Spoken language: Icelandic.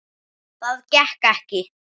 Það gekk ekki